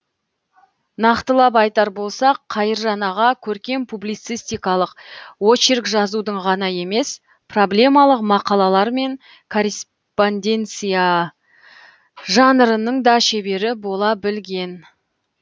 нақтылап айтар болсақ қайыржан аға көркем публицистикалық очерк жазудың ғана емес проблемалық мақалалар мен корреспонденция жанрының да шебері бола білген